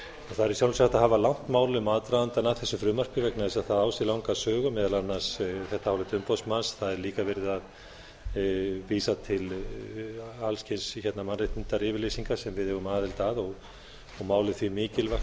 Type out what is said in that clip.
það er í sjálfu sér hægt að hafa langt mál um aðdragandann að þessu frumvarpi vegna þess að það á sér langa sögu meðal annars þetta álit umboðsmanns það er líka verið að vísa til alls kyns mannréttindayfirlýsinga sem við eigum aðild að og málið því mikilvægt